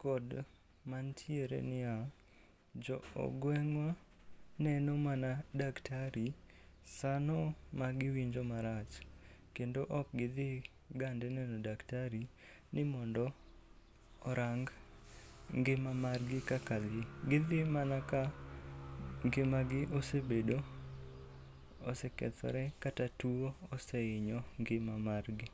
kod mantiere ni ya, jo gweng'wa neno mana daktari sano magiwinjo marach, kendo ok gidhi gande neno daktari ni mondo orang ngima mar gi kaka dhi. Gidhi mana ka ngimagi osebedo, osekethore kata tuo osehinyo ngima margi.